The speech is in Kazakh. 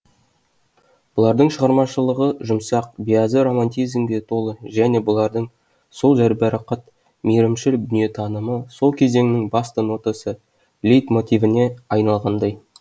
бұлардың шығармашылығы жұмсақ биязы романтизмге толы және бұлардың сол жәйбарақат мейрімшіл дүниетанымы сол кезеңнің басты нотасы лейтмотивіне айналғандай